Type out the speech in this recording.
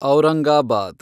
Aurangabad